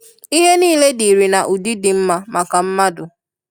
Ihe nile dịrị na ụdi di nma maka mmadụ.